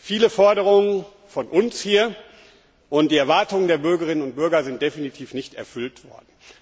Viele Forderungen von uns hier und die Erwartungen der Bürgerinnen und Bürger sind definitiv nicht erfüllt worden.